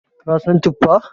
ka San tuffa?